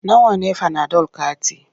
Nawa ne fanadol kati?